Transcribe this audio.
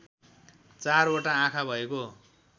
चारवटा आँखा भएको